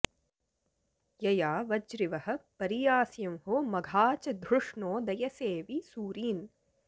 यया वज्रिवः परियास्यंहो मघा च धृष्णो दयसे वि सूरीन्